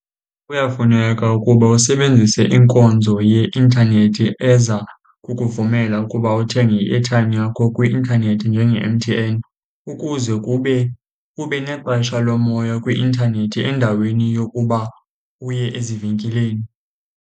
Kuyafuneka ukuba usebenzise inkonzo yeintanethi eza kukuvumela ukuba uthenge i-airtime yakho kwi-intanethi njenge-M_T_N, ukuze kube ube nexesha lomoya kwi-intanethi endaweni yokuba uye ezivenkileni.